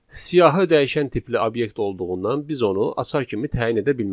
Siyahı dəyişən tipli obyekt olduğundan biz onu açar kimi təyin edə bilmərik.